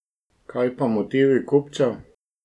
Kaj pa motivi kupcev?